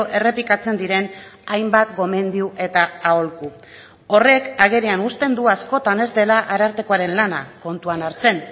errepikatzen diren hainbat gomendio eta aholku horrek agerian uzten du askotan ez dela arartekoaren lana kontuan hartzen